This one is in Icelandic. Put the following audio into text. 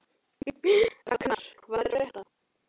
Raknar, hvað er að frétta?